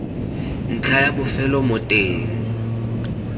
ntlha ya bofelo mo teng